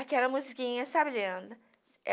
Aquela musiquinha, sabe, Leandro?